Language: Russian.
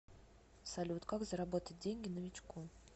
салют как заработать деньги новичку